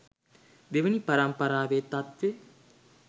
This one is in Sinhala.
දෙවනි පරම්පරාවෙ තත්වෙ